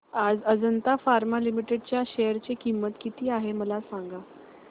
आज Ajanta pharma limited च्या share ची किंमत किती आहे मला सांगा